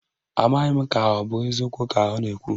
Amaghị m ka ọ bụ eziokwu ka ọ na-ekwu